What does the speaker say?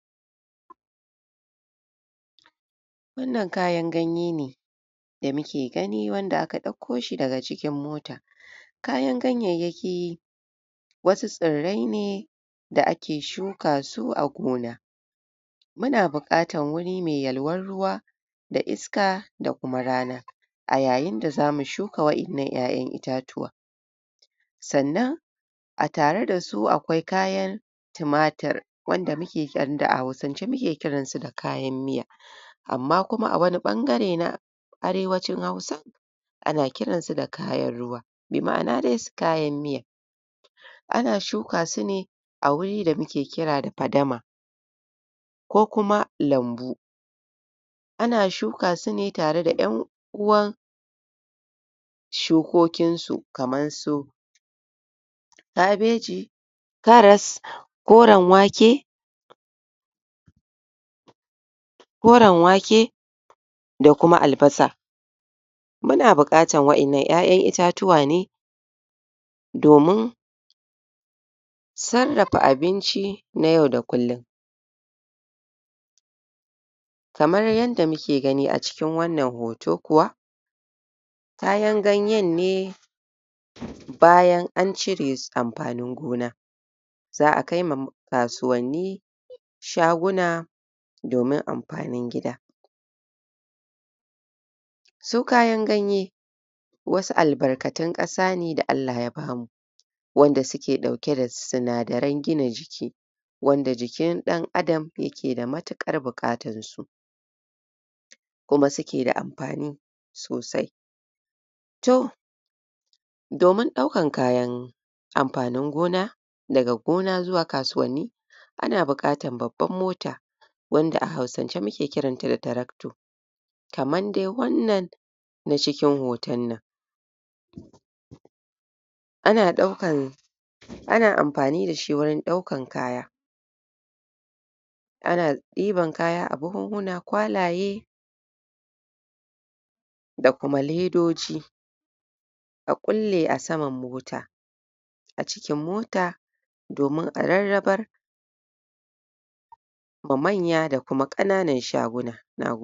Wannan kayan ganye ne da muke gani wanda aka dauko shi daga cikin mota kayan gayyayyaki wasu tsirre ne da ake shuka su a gona muna bukatan wuri mai yalwan ruwa da iska da kuma rana a yayin da za mu shuka wa'yannan 'yayan itatuwa sannan a tare da su a kwai kayan timatir wanda muke wanda a Hausance muke kiransa da kayan miya amma a wani bangare na arewacin Hausa ana kiransa da kayan ruwa mai ma ana dai kayan miya ana shuka su ne a wuri da muke kira da fadama ko kuma lambu ana shuka su me tare da yan uwan sukokin su kamar su ka bai ji karas koran wake koran wake da kuma albasa muna bukatan wa 'yannan 'yayan itatuwa ne domin sarrafa abinci na yau da kullun kamar yadda mu ke gani a cikin wannan hoto kuwa kayan ganyenne bayan an cire amfanin gona za a kaima kasuwanni sha guna domin amfanin gida su kayan ganye wasu albarkatan kasa ne da Allah ya bamu wanda suke dauke da sinadaran gina jiki wanda jikin dan adam yake da matukar bukatan su kuma suke da amfani sosai to domin daukan kayan amfanin gona daga gona zuwa kasuwanni ana bukatar babban mota wanda a Hausance muke kiranta da tarakto kaman dai wannan na cikin hotonnan ana daukan ana amfani da shi wurin daukan kaya ana iban kaya a buhuhuna kwalaye da kuma ledoji a kulle a saman mota a cjkin mota domin a rarrabar ma manya da kuma kananan shaguna